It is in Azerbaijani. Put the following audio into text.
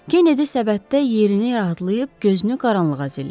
Kenedi səbətdə yerini rahatlayıb, gözünü qaranlığa zillədi.